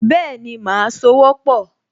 Bẹ́ẹ̀ni, màá sowọ́pọ̀